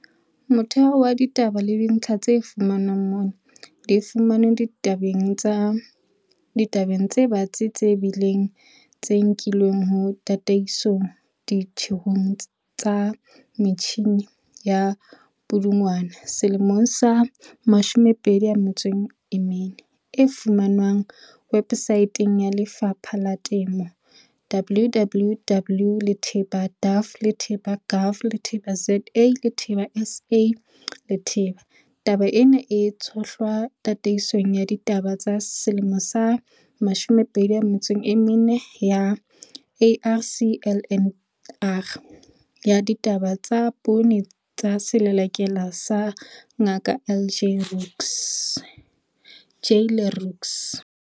Motheho wa ditaba le dintlha tse fumanweng mona di fumanwe ditabeng tse batsi, tse tebileng, tse nkilweng ho "Tataiso Ditjhehong tsa Metjhine" ya Pudungwana 2014 e fumanwang websaeteng ya Lefapha la Temo, www.daff.gov.za.sa. Taba ena e tshohlwa Tataisong ya Ditaba 2014 ya ARC-LNR ya ditaba tsa Poone tsa selelekela sa Ngaka J Le Roux.